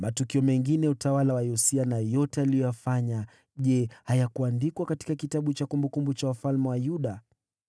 Matukio mengine ya utawala wa Yosia na yote aliyoyafanya, je, hayakuandikwa katika kitabu cha kumbukumbu za wafalme wa Yuda?